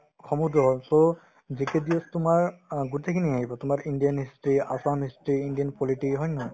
সমুদ্ৰ হ'ল so GK GS তোমাৰ অ গোটেইখিনি আহিব তোমাৰ Indian history ,Assam history Indian polity হয় নে নহয়